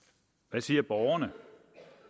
hvad siger borgerne